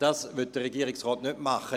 » Das will der Regierungsrat nicht tun.